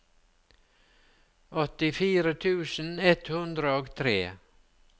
åttifire tusen ett hundre og tre